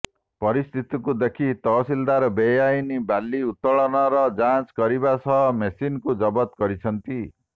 ପରିସ୍ଥିତିକୁ ଦେଖି ତହସିଲଦାର ବେଆଇନ ବାଲି ଉତ୍ତୋଳନର ଯାଞ୍ଚ କରିବା ସହ ମେସିନ୍ କୁ ଜବତ କରିଛନ୍ତି